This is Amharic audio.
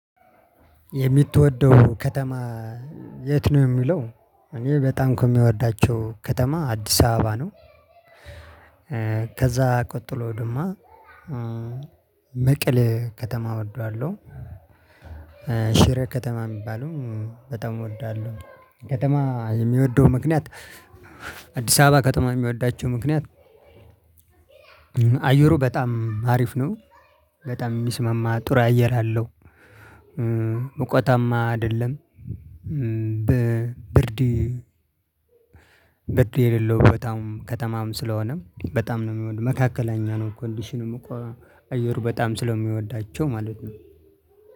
የምትወደው ከተማ የት ነው? የሚለው እኔ በጣም ከሚወዳቸው ከተማ አዲስ አበባ ነው። ከዛ ቀጥሎ ደሞ መቀሌ ከተማ እወደዋለሁ። ሺሬ ከተማ የሚባለውንም በጣም እወደዋለሁ። ከተማ የምወደው ምክንያት። አዲስ አበባ የምወዳቸው ምክንያት። አየሩ በጣም አሪፍ ነው በጣም የሚስመማ ጥሩ አየር አለው። ሙቀታማ አይደለም። ብርድ ብርድ የሌለው በጣም ከተማም ስለሆነም በጣም ነው የምወድ መካከለኛ ነው። ኮንዲሽንም እኮ አየሩ በጣም ስለሚወዳቸው ማለት ነው።